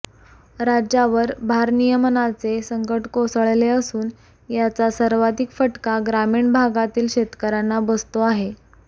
राज्यावर भारनियमनाचे संकट कोसळले असून याचा सर्वाधिक फटका ग्रामीण भागातील शेतकऱ्यांना बसतो आहे